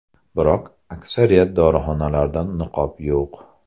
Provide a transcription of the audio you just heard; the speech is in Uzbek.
Biroq aksariyat dorixonalarda niqob yo‘q.